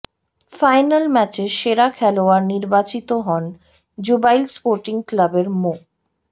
final ম্যাচে সেরা খেলোয়ার নির্বাচিত হন জুবাইল স্পোর্টিং ক্লাবের মো